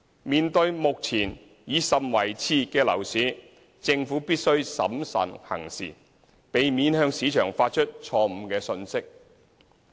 面對目前已甚為熾熱的樓市，政府必須審慎行事，避免向市場發出錯誤信息。